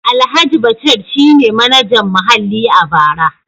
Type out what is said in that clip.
Alhaji Bashir shi ne Manajan Muhalli a bara.